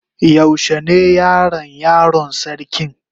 Yaushe ne Yaran yaron sarkin?